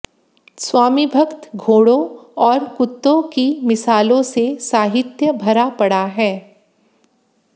स्वामिभक्त घोड़ों और कुत्तों की मिसालों से साहित्य भरा पड़ा है